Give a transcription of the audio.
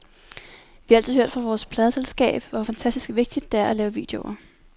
Vi har altid hørt fra vores pladeselskab, hvor fantastisk vigtigt det er at lave videoer.